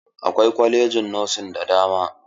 Akwai kwalajin nosin da dama.